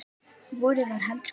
Vorið var heldur kalt.